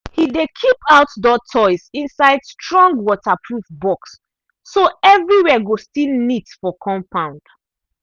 e dey keep out door toys inside strong water proof box so everywhere go still neat for compound